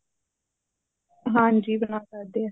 ਹਾਂਜੀ ਬਣਾ ਸਕਦੇ ਆ